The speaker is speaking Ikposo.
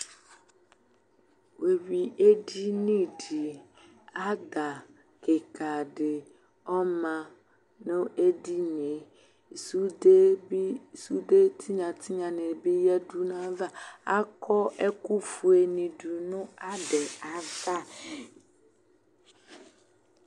Wʋeyui edini di, ada kika di ɔma nʋ edini e Sude bi, sude tinya tinya ni bi yadu nʋ ayava Akɔ ɛkʋ fue ni dʋ nʋ ada yɛ ava